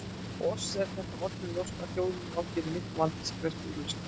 Oss er það öllum ljóst að þjóðin á hér í miklum vanda sem krefst úrlausnar.